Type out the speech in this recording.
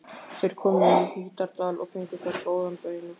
Þeir komu í Hítardal og fengu þar góðan beina.